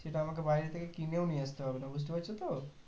সেটা আমাকে বাইরে থেকে কিনেও নিয়ে আস্তে হবে না বুঝতে পারছো তো